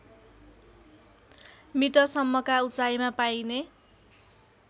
मिटरसम्मका उचाइमा पाइने